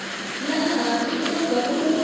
laha hansi ivi endzhaku u